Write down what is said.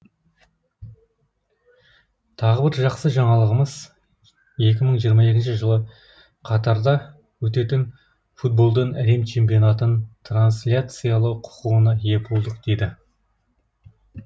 тағы бір жақсы жаңалығымыз екі мың жиырма екінші жылы катарда өтетін футболдан әлем чемпионатын трансляциялау құқығына ие болдық деді